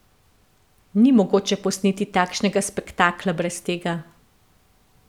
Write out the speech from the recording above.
Ni mogoče posneti takšnega spektakla brez tega.